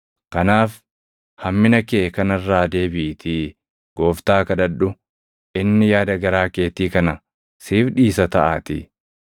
Kanaaf hammina kee kana irraa deebiʼiitii gooftaa kadhadhu; inni yaada garaa keetii kana siif dhiisa taʼaatii.